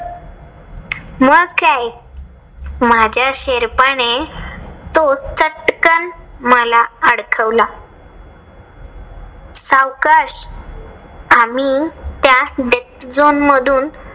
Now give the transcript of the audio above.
मग काय माझ्या शेर्पाने तो चटकन मला अडकवला. सावकाश आम्ही त्या death zone मधून